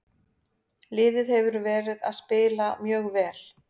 Liðið hefur verið að spila mjög vel.